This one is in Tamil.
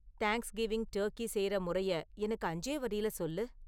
தேங்க்ஸ் கிவிங் டர்கி செய்ற முறையை எனக்கு அஞ்சே வரியில சொல்லு